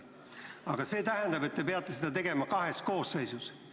Aga see tähendab, et te peate seda tegema kahes koosseisus.